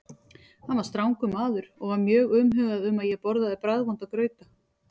Hann var strangur maður og var mjög umhugað um að ég borðaði bragðvonda grauta.